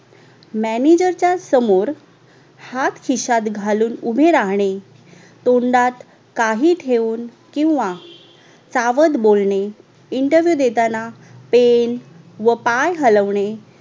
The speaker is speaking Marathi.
MANAGER च्या समोर हात खिशयात खालून उभे राहणे तोंडात काही ठेऊन किव्हा चावट बोलणे INTERVIEW देतांना पेन व पाय हलवणे